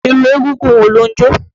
Irú egúngún wo ló ń jó?